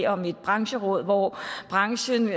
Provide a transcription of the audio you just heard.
om et brancheråd hvor branchen